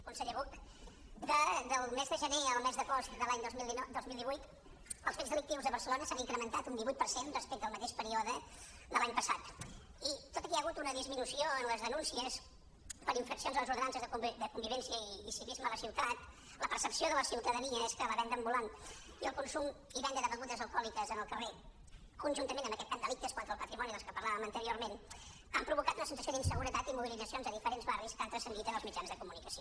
conseller buch del mes de gener al mes d’agost de l’any dos mil divuit els fets delictius a barcelona s’han incrementat un divuit per cent respecte al mateix període de l’any passat i tot i que hi ha hagut una disminució en les denúncies per infraccions en les ordenances de convivència i civisme a la ciutat la percepció de la ciutadania és que la venda ambulant i el consum i venda de begudes alcohòliques al carrer conjuntament amb delictes contra el patrimoni dels quals parlàvem anteriorment han provocat una sensació d’inseguretat i mobilitzacions a diferents barris que han transcendit en els mitjans de comunicació